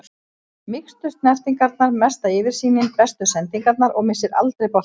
Mýkstu snertingarnar, mesta yfirsýnin, bestu sendingarnar og missir aldrei boltann.